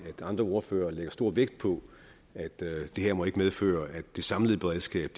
at andre ordførere lægger stor vægt på at det her ikke må medføre at det samlede beredskab